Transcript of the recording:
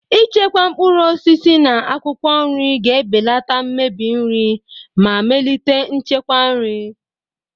Ichekwa mkpụrụ osisi na akwụkwọ nri ga-ebelata mmebi nri ma melite nchekwa nri.